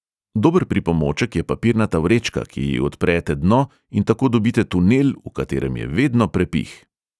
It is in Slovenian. Dober pripomoček je papirnata vrečka, ki ji odprete dno in tako dobite tunel, v katerem je vedno prepih.